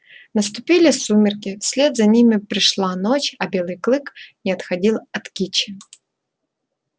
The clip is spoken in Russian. наступили сумерки вслед за ними пришла ночь а белый клык не отходил от кичи